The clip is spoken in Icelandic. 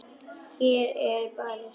Hér er barist.